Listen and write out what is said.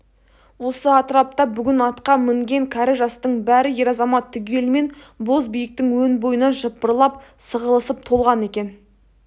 осы атырапта бүгін атқа мінген кәрі-жастың бәрі ер-азамат түгелімен бозбиіктің өн бойына жыпырлап сығылысып толған екен